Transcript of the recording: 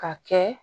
Ka kɛ